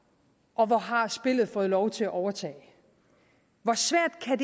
og hvor har spillet fået lov til at overtage hvor svært kan